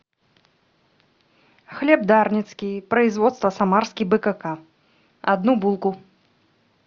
хлеб дарницкий производство самарский бкк одну булку